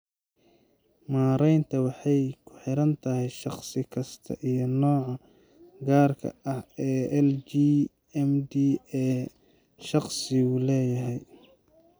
Maareynta waxay kuxirantahay shaqsi kasta iyo nooca gaarka ah ee LGMD ee shaqsigu leeyahay.